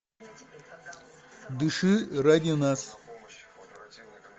дыши ради нас